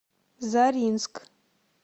заринск